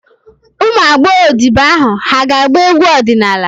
Ụmụ agbọghọ odibo ahụ hà ga-agba egwu ọdịnala?